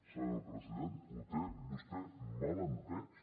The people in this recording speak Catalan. senyor president ho té vostè mal entès